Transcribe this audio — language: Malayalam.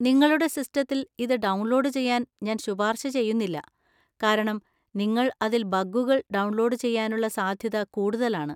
നിങ്ങളുടെ സിസ്റ്റത്തിൽ ഇത് ഡൗൺലോഡ് ചെയ്യാൻ ഞാൻ ശുപാർശ ചെയ്യുന്നില്ല, കാരണം നിങ്ങൾ അതിൽ ബഗുകൾ ഡൗൺലോഡ് ചെയ്യാനുള്ള സാധ്യത കൂടുതലാണ്.